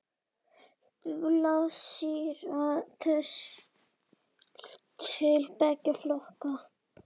Blásýra telst til beggja flokka.